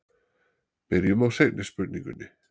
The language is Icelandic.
byrjum á seinni spurningunni